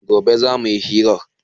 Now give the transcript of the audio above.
Gobe za mu yi hiran